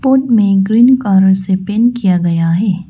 में green colour से paint किया गया है।